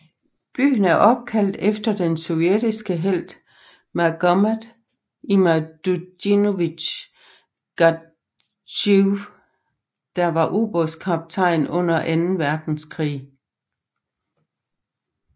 Byen er opkaldt efter den sovjetiske helt Magomet Imadutdinovich Gadzhiev der var ubådskaptajn under anden verdenskrig